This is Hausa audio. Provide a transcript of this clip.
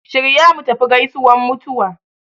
Shirya mutafi gaisuwan mutuwa